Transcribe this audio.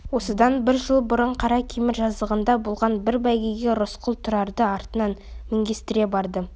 осыдан бір жыл бұрын қаракемер жазығында болған бір бәйгеге рысқұл тұрарды артына мінгестіре барды